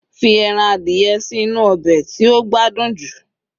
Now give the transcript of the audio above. fi Eran adìye sí inú obe ti o gbádùn ju